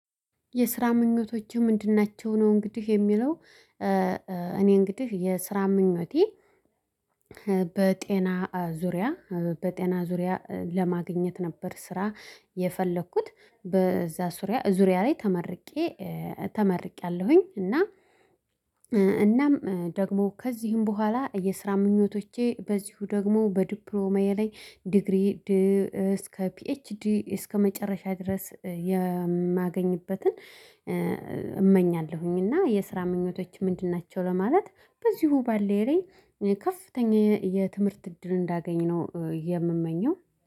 የስራ ምኞቶችህ ምንድን ናቸው? ነው እንግዲህ የሚለው እኔ እንግዲህ የስራ ምኞቴ። በጤና ዙሪያ በጤና ዙሪያ ለማግኘት ነበር። ስራ የፈለኩት በዛ ዙሪያ ላይ ተመርቄ ተመርቄያለሁኝ። እና እናም ደግሞ ከዚህም በኋላ የስራ ምኞቶቼ በዚሁ ደግሞ በዲፕሎማዬ ላይ ዲግሪ እስከ ፒኤችዲ እስከመጨረሻ ድረስ የማገኝበትን እመኛለሁኝ። እና የስራ ምኞቶች ምንድን ናቸው ለማለት በዚሁ ባለኝ ላይ ከፍተኛ የትምህርት እድል እንዳገኘው የምመኘው